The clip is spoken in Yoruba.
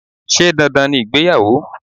Sé dandan ni ìgbéyàwó?